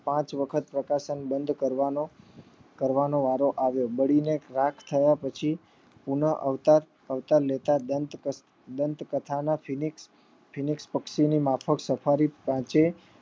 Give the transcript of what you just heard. પાંચ વખત પપ્રકાશન બંધ કરવાનો કરવાનો વારો આયો બળી ને રાખ થવાથી પુનઃ અવતાર અવતાર લેતા દંત દંત કથા નો ફીનીક્ષ ફીનીક્ષ પક્ષી માંફાકે સફારી એ